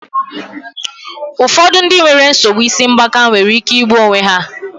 Ụfọdụ ndị nwere nsogbu isi ngbaka nwere ike igbu onwe ha.